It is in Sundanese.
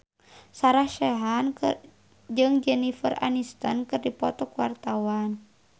Sarah Sechan jeung Jennifer Aniston keur dipoto ku wartawan